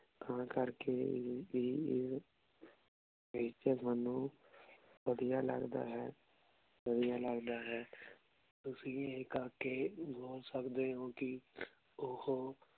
ਤਾਂ ਕਰ ਕੀ ਵੀ ਏਥੇ ਸਾਨੂ ਵਾਦਿਯ ਲਗਦਾ ਹੈ ਵਾਦਿਯ ਲਗਦਾ ਅਹਿ ਤੁਸੀਂ ਈਯ ਕਰ ਕੇ ਬੋਲ ਸਕਦੇ ਊ ਕੀ ਓਹੋ